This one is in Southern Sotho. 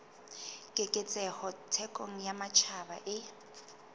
keketseho thekong ya matjhaba e